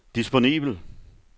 disponibel